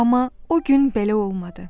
Amma o gün belə olmadı.